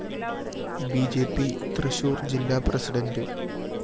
B J P Thrissur‍ ജില്ലാ president